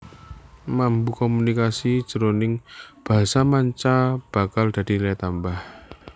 Mampu komunikasi jroning basa manca bakal dadi nilai tambah